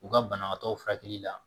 U ka banabaatɔ furakɛli la